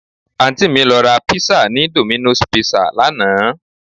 Àǹtí mi lọ ra pizza ni Domino's Pizza lánàá